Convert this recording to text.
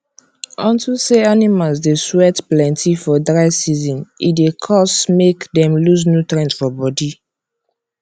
unto say animals dey sweat plenty for dry season e dey cause make dem loose nutrients for body